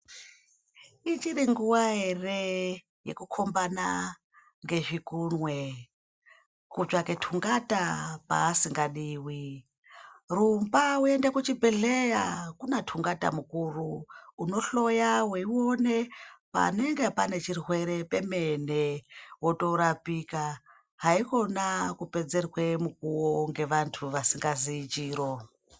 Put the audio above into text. Ichiri nguwa ere yekukombana ngezvikunwe kutsvake tungata paasingadiwi rumba uyende kuchibhehlera kunatungata mukuru unohloya weione panenge pane chirwere pemene wotorapika haikona kupedzerwe mukuwo ngevantu vasikaziyi chiro.